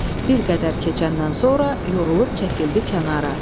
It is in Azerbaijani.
Bir qədər keçəndən sonra yorulub çəkildi kənara.